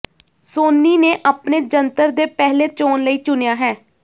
ਸੋਨੀ ਨੇ ਆਪਣੇ ਜੰਤਰ ਦੇ ਪਹਿਲੇ ਚੋਣ ਲਈ ਚੁਣਿਆ ਹੈ